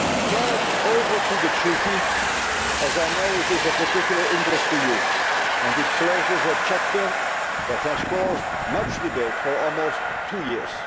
Now over to the treaty, as I know this is of particular interest to you, and it closes a chapter that has been the cause of much debate for almost two years.